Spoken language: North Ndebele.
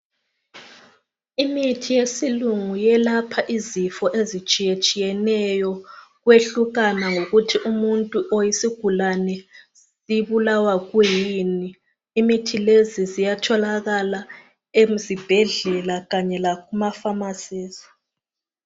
imithi yesilungu yelapha izifo ezitshiyetshiyeneyo kwehlukana ngokuthi umuntu or isigulane sibulawa kuyini imithi leyi iyatholakala ezibhedlela kanye lakumaphamarcies